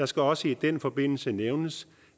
skal også i den forbindelse nævnes